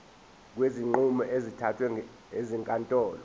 kwezinqumo ezithathwe ezinkantolo